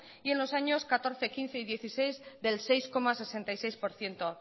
y en los años dos mil catorce dos mil quince y dos mil dieciséis del seis coma sesenta y seis por ciento